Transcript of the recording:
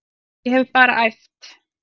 Ég hef bara æft.